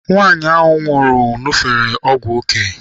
Nwaanyị ahụ nwụrụ ṅufere ọgwụ ya.